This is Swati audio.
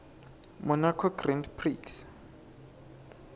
monaco grand prix